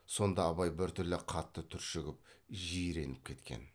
сонда абай біртүрлі қатты түршігіп жиреніп кеткен